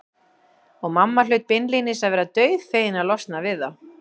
Og mamma hlaut beinlínis að vera dauðfegin að losna við þá.